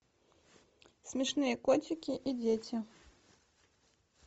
смешные котики и дети